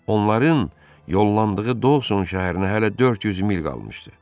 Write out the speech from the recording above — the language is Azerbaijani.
Onların yollandığı Dawson şəhərinə hələ 400 mil qalmışdı.